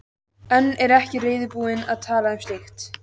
En er ekki reiðubúin að tala um slíkt.